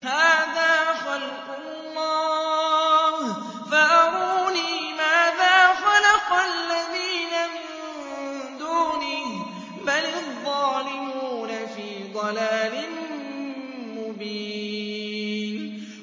هَٰذَا خَلْقُ اللَّهِ فَأَرُونِي مَاذَا خَلَقَ الَّذِينَ مِن دُونِهِ ۚ بَلِ الظَّالِمُونَ فِي ضَلَالٍ مُّبِينٍ